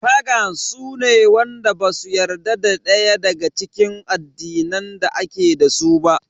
Fagans su ne wanda basu yarda da daya daga cikin addinan da ake dasu ba.